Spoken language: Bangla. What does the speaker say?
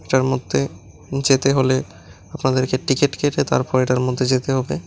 এটার মধ্যে যেতে হলে আপনাদেরকে টিকিট কেটে তারপর এটার মধ্যে যেতে হবে।